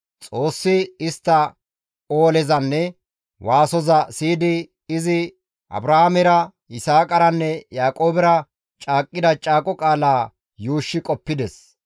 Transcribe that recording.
Xoossi istta oolezanne istta waasoza siyidi izi Abrahaamera, Yisaaqaranne Yaaqoobera caaqqida caaqo qaalaa yuushshi qoppides.